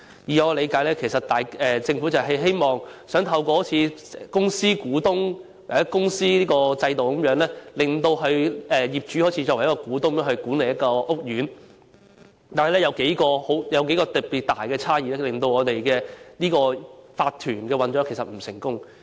據我理解，其實政府希望透過類似公司股東的制度，讓業主以股東身份管理屋苑，但當中有數項特別大的不足之處令業主立案法團的運作並不成功。